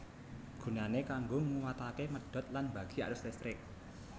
Gunane kanggo nguwatake medhot lan mbagi arus listrik